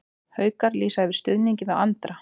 Haukar lýsa yfir stuðningi við Andra